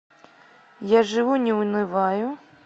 я живу не унываю